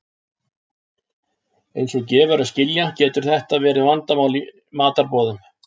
Eins og gefur að skilja getur þetta verið vandamál í matarboðum.